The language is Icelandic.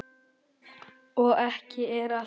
Og ekki er allt talið.